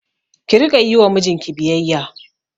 Ki Rika Yi wa mijinki biyayya